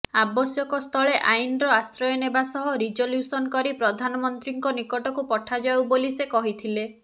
ଆବଶ୍ୟକସ୍ଥଳେ ଆଇନର ଆଶ୍ରୟ ନେବା ସହ ରିଜଲୁସନ୍ କରି ପ୍ରଧାନମନ୍ତ୍ରୀଙ୍କ ନିକଟକୁ ପଠାଯାଉ ବୋଲି ସେ କହିଥିଲେ